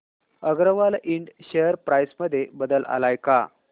Agarwal Ind share price मध्ये बदल आलाय का